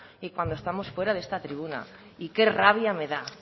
y cuando estamos fuera de esta tribuna y qué rabia me da